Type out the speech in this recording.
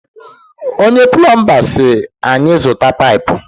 Onye pulomba si anyị zụta paipu